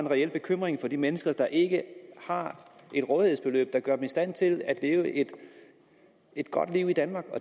reelt bekymret for de mennesker der ikke har et rådighedsbeløb der gør dem i stand til at leve et godt liv i danmark